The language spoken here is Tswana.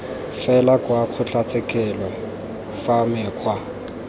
fela kwa kgotlatshekelo fa mekgwa